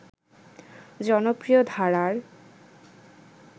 জনপ্রিয় ধারার